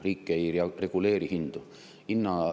Riik ei reguleeri hindu.